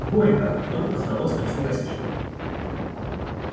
горько вдруг раздалось на всю гостиную